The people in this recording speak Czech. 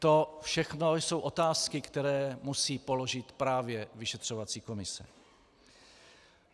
To všechno jsou otázky, které musí položit právě vyšetřovací komise.